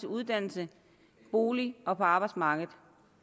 uddannelse bolig og på arbejdsmarkedet